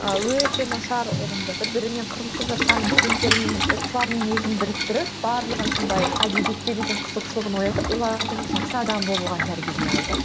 ыыы өте нашар бір бірімен қырылысып жатқан студенттердің оқушылардың өзін біріктіріп барлығын сондай әдебиетке деген қызығушылығын оятып оларды жақсы адам болуға тәрбиелей алды